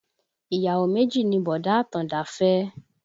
Ìyàwó méjì ni bọ̀dá Àtàndá fẹ́